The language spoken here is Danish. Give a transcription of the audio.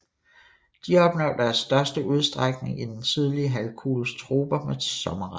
De opnår deres største udstrækning i den sydlige halvkugles troper med sommerregn